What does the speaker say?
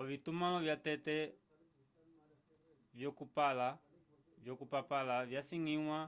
ovitumãlo vyatete vyokupapala vyasangiwa